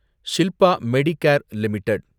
Shilpa Medicare limited